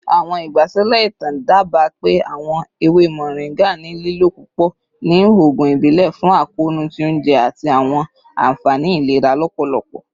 Awọn igbasilẹ itan daba pe awọn ewe moringa ni lilo pupọ ni oogun ibile fun akoonu ti ounjẹ ati awọn anfani ilera lọpọlọpọ.